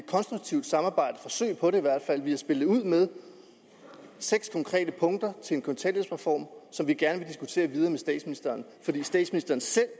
konstruktivt samarbejde vi har spillet ud med seks konkrete punkter til en kontanthjælpsreform som vi gerne vil diskutere videre med statsministeren fordi statsministeren selv